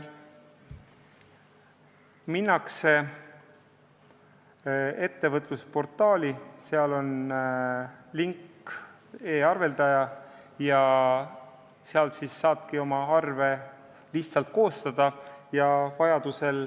Minnakse ettevõtjaportaali, kus on link "E-arveldaja", ja seal saabki oma arve koostada.